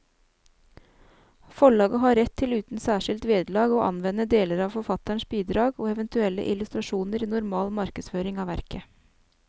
Forlaget har rett til uten særskilt vederlag å anvende deler av forfatterens bidrag og eventuelle illustrasjoner i normal markedsføring av verket.